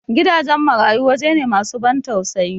Gidajen marayu wajaje ne masu ban tausayi